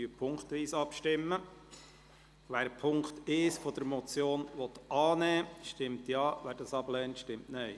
Wer den Punkt 1 der Motion annimmt, stimmt Ja, wer diesen ablehnt, stimmt Nein.